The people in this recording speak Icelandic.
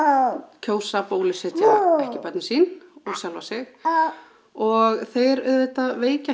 kjósa að bólusetja ekki börnin sín og sjálfa sig og þeir auðvita veikja